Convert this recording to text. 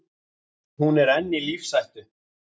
Hún er enn í lífshættu.